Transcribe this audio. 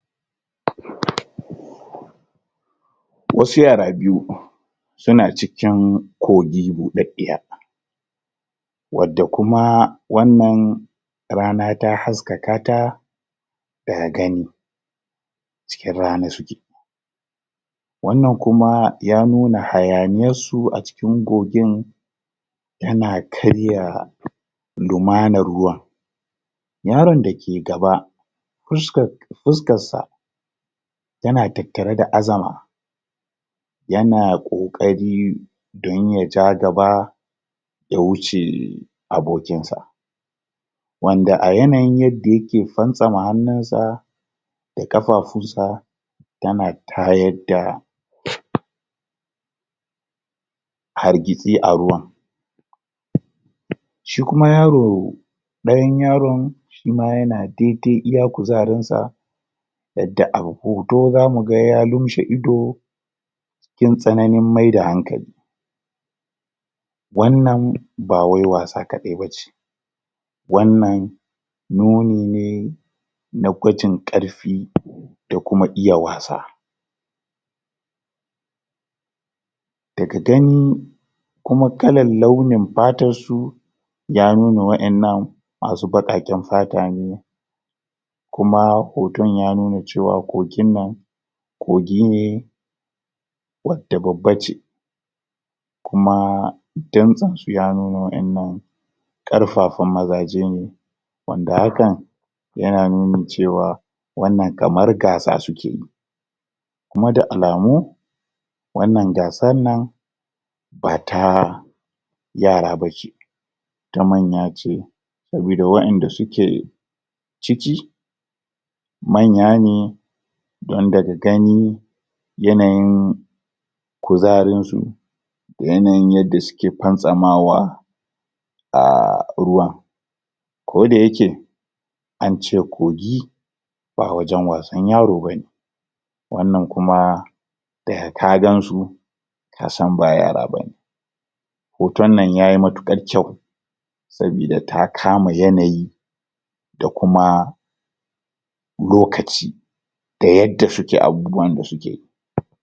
????? wasu yara biyu suna cikin kogi budaddiya wadda kuma wannan rana ta haskaka ta daga gani cikin rana suke wannan kuma ya nuna hayaniyar su a cikin kogin tana karya lumanar ruwan yaron da ke gaba fuskar faskas sa tana tattare da azama yana kokari don ya ja gaba ya wuce abokin sa wanda a yanayin yadda yake fantsama hannun sa da kafafun sa tana tayar da??? hargitsi a ruwan?? shi kuma yaro dayan yaron shima yana dai dai iya kuzarin sa yadda a hoto zamu ga yadda ya lumshe ido cikin tsananin maida hankali wannan ba wai wasa kadai bace wannan nuni ne na gwajin karfi da kuma iya wasa daga gani kuma kalar launin fatar su ya nuna wa'ennan masu baqaqen fata ne kuma hoton ya nuna cewa kogin nan kogi ne wadda babbace kuma dantsen su ya nuna wa'ennan karfafan mazaje ne wanda hakan yana nuni cewa wannan kamar gaasa suke yi kuma da alamu wannan gaasan nan ba taaa yara bace ta manya ce sabida wa'enda suke ciki manya ne don daga gani yanayin kuzarin su da yanayin yadda suke fantsamawa aaaa ruwan ko da yake ance kogi ba wajen wasan yaro bane wannan kuma daga ka gansu kasan ba yara bane hoton nan yayi matukar kyau sabida ta kama yanayi da kuma lokaci da yadda suke abubuwan da sukeyi]?